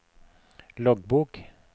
loggbok